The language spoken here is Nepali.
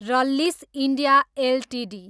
Rallis India Ltd